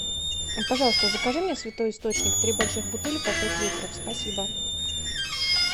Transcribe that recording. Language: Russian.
пожалуйста закажи мне святой источник три больших бутыли по пять литров спасибо